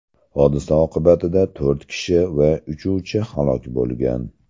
Hodisa oqibatida to‘rt kishi va uchuvchi halok bo‘lgan.